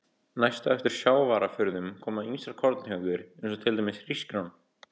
Næst á eftir sjávarafurðum koma ýmsar korntegundir eins og til dæmis hrísgrjón.